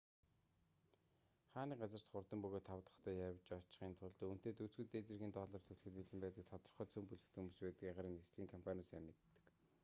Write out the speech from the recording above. хаа нэг газарт хурдан бөгөөд тав тухтай явж очихын тулд үүнтэй дүйцэхүйц дээд зэргийн доллар төлөхөд бэлэн байдаг тодорхой цөм бүлэг хүмүүс байдгийг агаарын нислэгийн компаниуд сайн мэддэг